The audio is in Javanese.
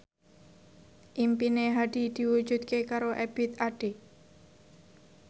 impine Hadi diwujudke karo Ebith Ade